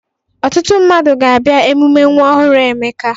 Ọtụtụ mmadụ ga-abịa emume nwa ọhụrụ Emeka.